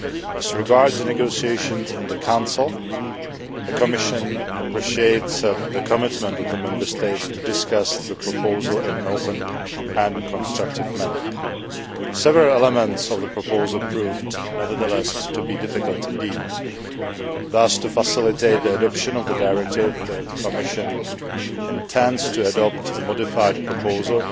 As regards the negotiations in the Council, the Commission appreciates the commitment of the Member States to discuss the proposal in an open and constructive manner. Several elements of the proposal proved, nevertheless, to be difficult indeed. Thus, to facilitate the adoption of the directive, the Commission intends to adopt a modified proposal